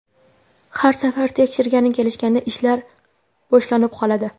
Har safar tekshirgani kelishganda ishlar boshlanib qoladi.